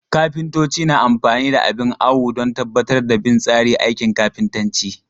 Kafintoci na amfani da abin awo don tabbatar da bin tsari aikin kafintanci.